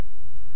ठीक आहे